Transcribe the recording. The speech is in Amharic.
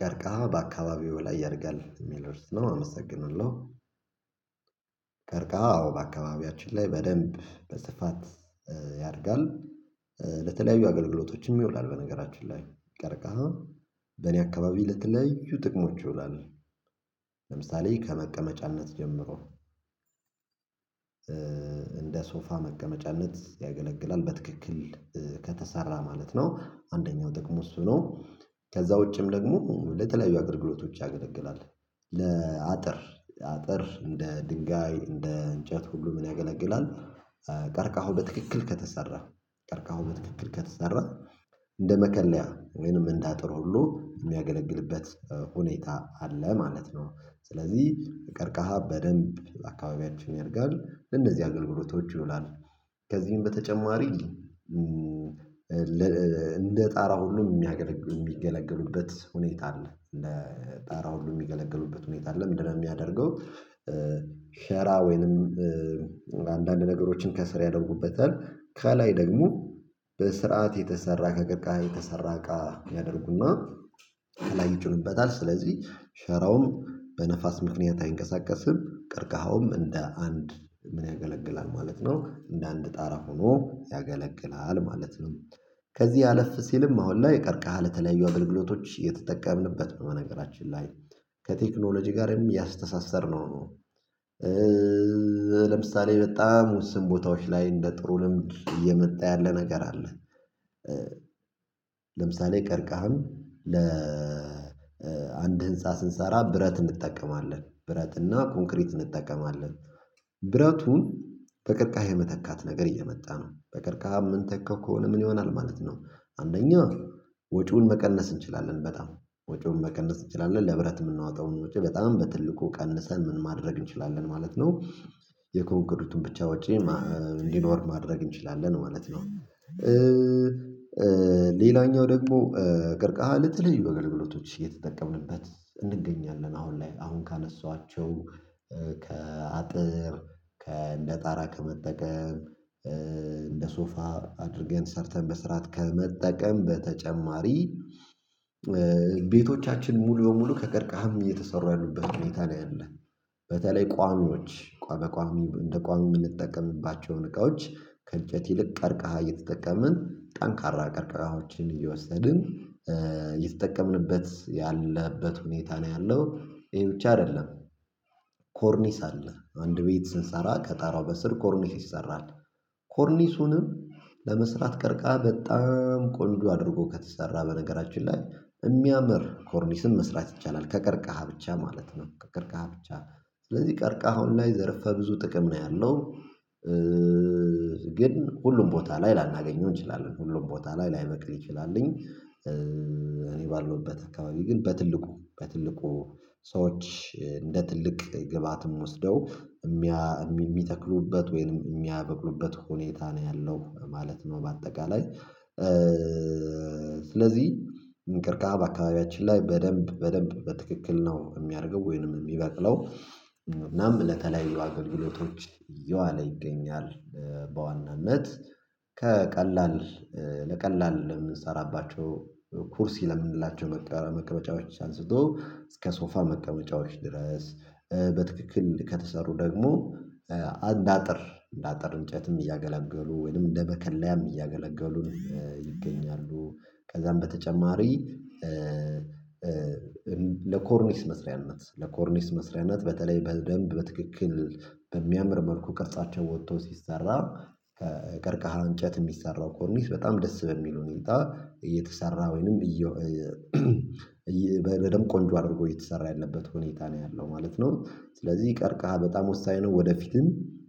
ቀርከሃ በአካባቢው ላይ ያድጋል የሚል ርዕስ ነው አመሰግንለው። ቀርከሃ አዎ በአካባቢያችን ላይ በደንብ በስፋት ያድጋል። ለተለያዩ አገልግሎቶችም ይውላል በነገራችን ላይ ቀርቃሃ በእኔ አካባቢ ለተለያዩ ጥቅሞች ይሆናል። ለምሳሌ ከመቀመጫነት ጀምሮ እንደ ሶፋ መቀመጫነት ያገለግላል በትክክል ከተሰራ ማለት ነው አንደኛው ጥቅሙ እሱ ነው። ከዛ ውጭም ደግሞ ለተለያዩ አገልግሎቶች ያገለግላል። ለአጥር አጥር እንደ ድንጋይ እንደ እንጨት ሁሉ ምን ያገለግላል? ቀርቃሁ በትክክል ከተሰራ ቀርቃሃው በትክክል ከተሰራ እንደ መከለያ ወይንም እንዳጥር ሁሉ የሚያገለግልበት ሁኔታ አለ ማለት ነው። ስለዚህ ቀርቃሃ በደንብ አካባቢያችን ያድጋል ለእነዚህ አገልግሎቶች ይውላሉ። ከዚህም በተጨማሪ እንደ ጣራ ሁሉ የሚገለግሉበት ሁኔታ አለ ለጣራ ሁሉ የሚገለገሉበት ሁኔታ አለ ምንድነው የሚያደርገው? ሸራ ወይንም አንዳንድ ነገሮችን ከስር ያደርጉበታል ከላይ ደግሞ በስርዓት የተሰራ ከቀርቃሃ የተሰራ እቃ ያደርጉና ከላይ ይጭኑበታል ስለዚህ ሸራውም በነፋስ ምክንያት አይንቀሳቀስም። ቀርቃሃውም እንደ አንድ ምን ያገለግላል ማለት ነው። እንደ አንድ ጣራ ሆኖ ያገለግላል ማለት ነው። ከዚህ አለፍ ሲልም አሁን ላይ ቀርቀሃ ለተለያዩ አገልግሎቶች የተጠቀምንበት በመነገራችን ላይ ከቴክኖሎጂ ጋርም ያስተሳሰርነው ነው። ለምሳሌ በጣም ውስን ቦታዎች ላይ እንደ ጥሩ ልምድ እየመጣ ያለ ነገር አለ። ለምሳሌ ቀርቃህን ለአንድ ህንፃ ስንሰራ ብረት እንጠቀማለን ብረት እና ኮንክሪት እንጠቀማለን። ብረቱን በቅርቃሄ የመተካት ነገር እየመጣ ነው። በቅርቃሄ ምን ተካው ከሆነ ምን ይሆናል ማለት ነው። አንደኛ ወጪውን መቀነስ እንችላለን በጣም ወጪውን መቀነስ እንችላለን ለህብረት የምናወጣውን ወጪ በጣም በትልቁ ቀንሰን ምን ማድረግ እንችላለን ማለት ነው። የኮንገሪቱን ብቻ ውጪ እንዲኖር ማድረግ እንችላለን ማለት ነው። ሌላኛው ደግሞ ቀርቀሃ ለተለያዩ አገልግሎቶች እየተጠቀምንበት እንገኛለን አሁን ላይ አሁን ካነሳኋቸው ከአጥር ከእንደ ጣራ ከመጠቀም እንደ ሶፋ አድርገን ሰርተን በስራት ከመጠቀም በተጨማሪ ቤቶቻችን ሙሉ በሙሉ ከቀርቃሃም እየተሰሩ ያሉበት ሁኔታ ላይ አለ። በተለይ ቋሚዎች ቋሚ እንደ ቋሚ የምንጠቀምባቸውን እቃዎች ከእጨት ይልቅ ቀርቃሃ እየተጠቀምን ጠንካራ ቀርቃዎችን እየወሰድን እየተጠቀምንበት ያለበት ሁኔታ ነው ያለው ይሄ ብቻ አይደለም። ኮርኒስ አለ አንድ ቤት ስንሰራ ከጣራው በስር ኮርኒስ ይሰራል። ኮርኒሱንም ለመስራት ቀርቃ በጣም ቆንጆ አድርጎ ከተሰራ በነገራችን ላይ የሚያምር ኮርኒስን መስራት ይቻላል ከቀርቀሃ ብቻ ማለት ነው። ከቀርቀሃ ብቻ ስለዚህ ቀርቃሃው ላይ ዘርፈ ብዙ ጥቅም ነው ያለው። ግን ሁሉም ቦታ ላይ ላናገኘው እንችላለን ሁሉም ቦታ ላይ ላይበቅል ይችላልኝ እኔ ባለውበት አካባቢ ግን በትልቁ በትልቁ ሰዎች እንደ ትልቅ ግብአትም ወስደው የሚተክሉበት ወይንም የሚያበቅሉበት ሁኔታ ነው ያለው ማለት ነው። በአጠቃላይ ስለዚህ እንቅርቃሃ በአካባቢያችን ላይ በደንብ በደንብ በትክክል ነው የሚያድገው ወይንም የሚበቅለው። እናም ለተለያዩ አገልግሎቶች እየዋለ ይገኛል። በዋናነት ከቀላል ለቀላል የምንሰራባቸው ኩርሲ ለምንላቸው መቀመጫዎች አንስቶ እስከ ሶፋ መቀመጫዎች ድረስ በትክክል ከተሰሩ ደግሞ አንዳጥር እንዳጥር እንጨትም እያገላገሉ ወይንም እንደ መከለያም እያገለገሉን ይገኛሉ። ከዛም በተጨማሪ ለኮርኒስ መስሪያነት ለኮርኒስ መስሪያነት በተለይ በደንብ በትክክል በሚያምር መልኩ ቅርጻቸው ወጥተው ሲሰራ ከቀርቀሃ እንጨት የሚሰራው ኮርሚስ በጣም ደስ በሚል ሁኔታ እየተሰራ ወይንም እዬ በደንብ ቆንጆ አድርጎ እየተሰራ ያለበት ሁኔታ ነው ያለው ማለት ነው። ስለዚህ ቀርቀሃ በጣም ወሳኝ ነው ወደፊትም